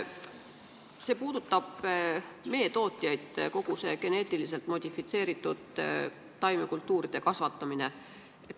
See puudutab meetootjaid, kogu see geneetiliselt modifitseeritud taimekultuuride kasvatamine.